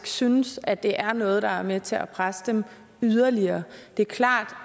synes at det er noget der er med til at presse dem yderligere det er klart